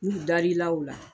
N'u dar'i la o la